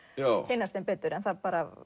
kynnast þeim betur en það